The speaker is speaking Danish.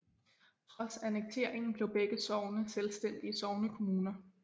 Trods annekteringen blev begge sogne selvstændige sognekommuner